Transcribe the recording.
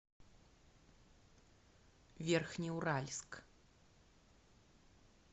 верхнеуральск